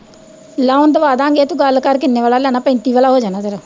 loan ਦਵਾਦਾਂਗੇ ਤੂੰ ਗੱਲ ਕਰ ਕਿੰਨੇ ਵਾਲਾ ਲੈਣ ਪੈਤੀ ਵਾਲਾ ਹੋ ਜਾਣਾ ਤੇਰਾ